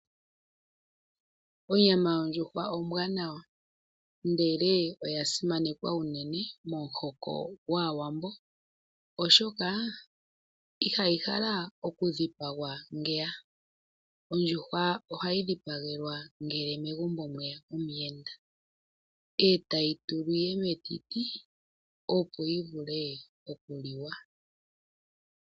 Onyama yondjuhwa ombwanawa ndele, oya simanekwa unene momuhoko gwaawambo oshoka, iha yi halwa oku dhipagwa ngeya. Ondjuhwa oha yi dhipagwa ngele megumbo mweya omuyenda, ee ta yi tulwa metiti opo yi vule okuliwa.